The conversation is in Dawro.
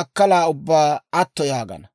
makkala ubbaa atto yaagana.